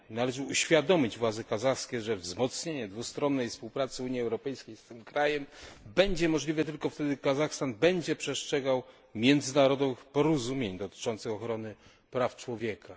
Należy uświadomić władze kazachskie, że wzmocnienie dwustronnej współpracy Unii Europejskiej z tym krajem będzie możliwe tylko wtedy, gdy Kazachstan będzie przestrzegał międzynarodowych porozumień dotyczących ochrony praw człowieka.